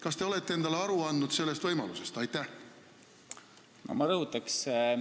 Kas te olete endale sellest võimalusest aru andnud?